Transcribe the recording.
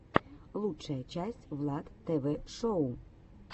лучшая часть влад тв шоу